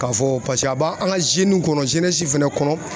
K'a fɔ a b'a an ka kɔnɔ fɛnɛ kɔnɔ